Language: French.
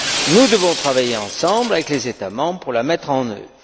Nous devons travailler ensemble avec les États membres pour la mettre en œuvre.